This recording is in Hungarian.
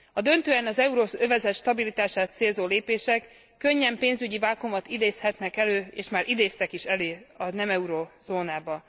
A döntően az euróövezet stabilitását célzó lépések könnyen pénzügyi vákuumot idézhetnek elő és már idéztek is elő a nem eurózónában.